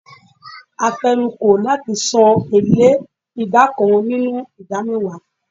A fenu ko lati san ele ida kan ninu ida mewa